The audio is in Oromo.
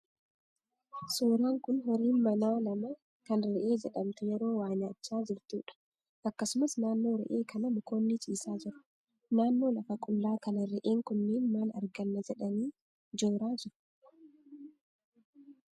Suuraan kun horiin manaa lama kan re'ee jedhamtu yeroo waa nyaachaa jirtuudha. Akkasumas naannoo re'ee kanaa mukoonni ciisaa jiru. Naannoo lafa qullaa kanaa re'een kunneen maal arganna jedhanii jooraa jiru?